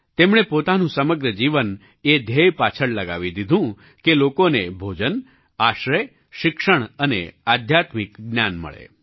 તેમણે પોતાનું સમગ્ર જીવન એ ધ્યેય પાછળ લગાવી દીધું કે લોકોને ભોજન આશ્રય શિક્ષણ અને આધ્યાત્મિક જ્ઞાન મળે